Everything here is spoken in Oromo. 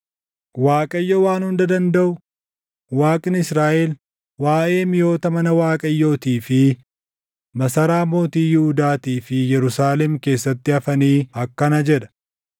Waaqayyo Waan Hunda Dandaʼu, Waaqni Israaʼel waaʼee miʼoota mana Waaqayyootii fi masaraa mootii Yihuudaatii fi Yerusaalem keessatti hafanii akkana jedha: